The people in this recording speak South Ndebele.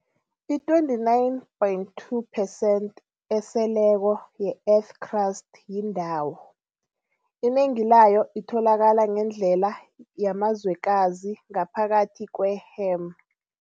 I-29.2 percent eseleko ye-Earth crust yindawo, inengi layo itholakala ngendlela yamazwekazi ngaphakathi kwe-hem.